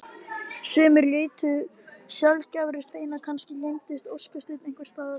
Sumir leituðu sjaldgæfra steina kannski leyndist óskasteinn einhvers staðar.